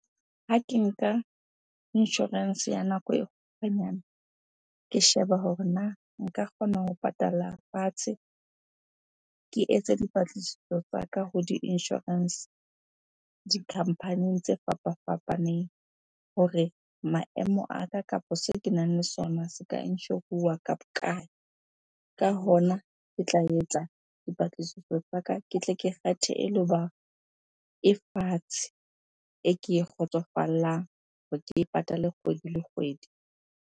Ha ke nka insurance ya nako e kgutshwanyane, ke sheba hore na nka kgona ho patala fatshe? Ke etse dipatlisiso tsaka ho di-insurance, di-company-ing tse fapafapaneng hore maemo a ka kapa seo kenang le sona se ka insure-uwa ka bokae? Ka hona ke tla etsa dipatlisiso tsa ka, ke tle ke kgethe e e fatshe. E ke e kgotsofallang hore ke e patale kgwedi le kgwedi.